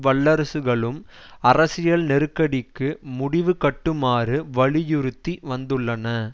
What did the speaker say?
வல்லரசுகளும் அரசியல் நெருக்கடிக்கு முடிவுகட்டுமாறு வலியுறுத்தி வந்துள்ளன